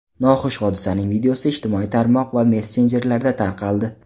Noxush hodisaning videosi ijtimoiy tarmoq va messenjerlarda tarqaldi.